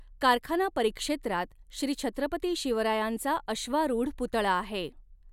कारखाना परिक्षेत्रात श्री छत्रपती शिवरायांचा अश्वारूढ पुतळा आहे.